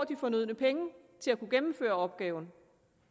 de fornødne penge til at kunne gennemføre opgaven